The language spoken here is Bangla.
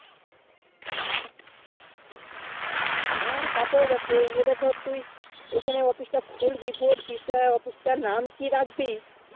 হেঁ তাই তো এরা যদি তুই ওখানে office টা খুলবি বলছিস তাই office টা নাম কি রাখবি